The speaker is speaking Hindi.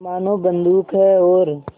मानो बंदूक है और